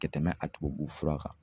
Kɛ tɛmɛ a tubabu fura kan